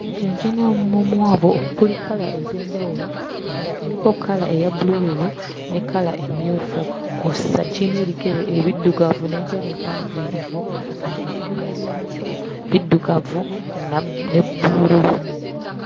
Ekinyonyi kirina omumwa omuwanvu okuli kkala ez'enjawulo, kuno kuliko kkala eya bbulululu ne kkala emmyufu kw'ossa kirina ebigere ebiddugavu n'enjala empanvuyirivu ate n'ebyoya byakyoebiddugavu na ne bbululu.